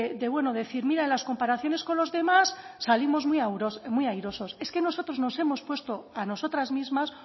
de bueno de decir mira en las comparaciones con los demás salimos muy airosos es que nosotros nos hemos puesto a nosotras mismas